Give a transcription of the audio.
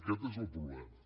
aquest és el problema